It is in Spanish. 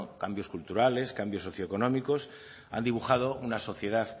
cambios culturales cambios socioeconómicos han dibujado una sociedad